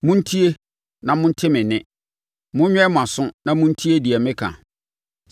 Montie na monte me nne; monwɛn mo aso na montie deɛ meka.